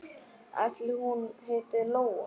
Ætli hún heiti Lóa?